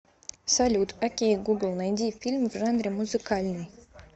салют окей гугл найди фильм в жанре музыкальный